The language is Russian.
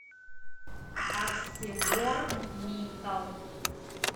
арселор митал